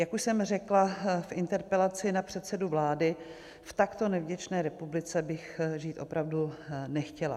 Jak už jsem řekla v interpelaci na předsedu vlády, v takto nevděčné republice bych žít opravdu nechtěla.